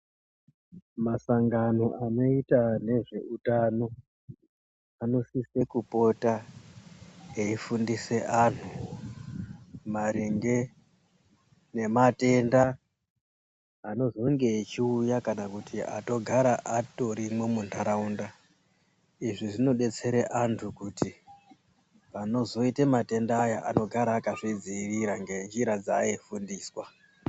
Masangano anoita nezveutano anosise kupota eifundise anhu maringe nematenda anozonge echiuya kana kuti atogara atorimwo muntaraunda. Izvi zvinodetsera antu kuti panozoite matenda aya anogara akazvidziirira ngenjira dzaaifundiswa.